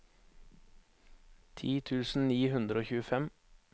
ti tusen ni hundre og tjuefem